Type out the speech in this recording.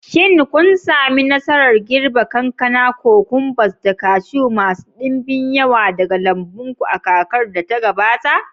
Shin kun sami nasarar girbe kankana, cucumbers, da kashu masu ɗimbin yawa daga lambun ku a kakar da ta gabata?